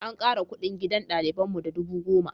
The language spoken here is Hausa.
An ƙara kuɗin gidan ɗaliban mu da dubu goma.